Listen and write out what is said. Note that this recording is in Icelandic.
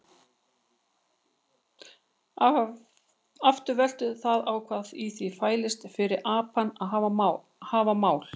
Aftur veltur það á því hvað í því fælist fyrir apana að hafa mál.